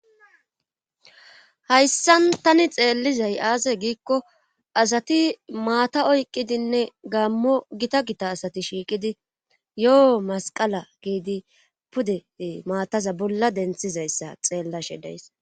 Hayssan tani xeellizay aase giikko asati maata oyqqidinne gammo gita gita asati shiiqidi yoo masqala giidi pude maataza bolla denththizayssa xeellashe de'ays